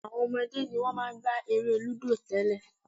Àwọn ọmọdé ni wọ́n máa ń gbá eré lúdò tẹ́lẹ̀